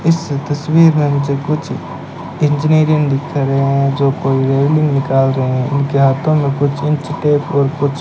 इस तस्वीर में मुझे कुछ इंजीनियर दिख रहे हैं जो कोई रेलिंग निकाल रहे हैं उनके हाथों में कुछ इंच टेप और कुछ --